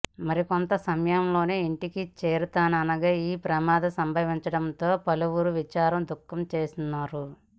మరికొంత సమయంలోనే ఇంటికి చేరుతారనగా ఈ ప్రమాదం సంభవించడంపై పలువురు విచారం వ్యక్తంచేస్తున్నారు